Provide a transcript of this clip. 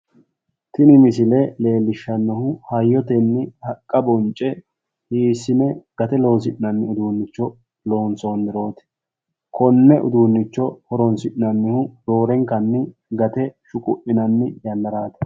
tini missele leellishanohu hayyotenni haqqa bonce hiissine gate loosinanni uddunicho loonsoniroti kone uddunicho hooronsinnanihu roorenkanni gatte shuqquninnani yannaraati.